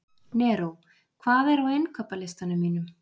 Neró, hvað er á innkaupalistanum mínum?